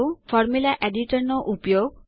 formula editor નો ઉપયોગ